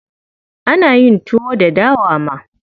Ana yin tuwon dawa ma.